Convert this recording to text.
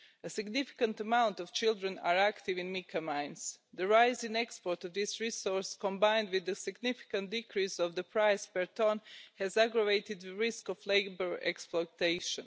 A significant number of children are active in mica mines. The rise in exports of this resource, combined with a significant decrease in the price per tonne, has aggravated the risk of labour exploitation.